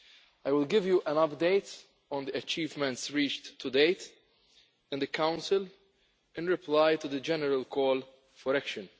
I will give you an update on the achievements reached to date in the Council in reply to the general call for action.